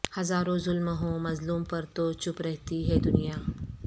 ہزاروں ظلم ہوں مظلوم پر تو چپ رہتی ہے دنیا